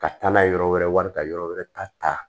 Ka taa n'a ye yɔrɔ wɛrɛ wari ka yɔrɔ wɛrɛ ta ta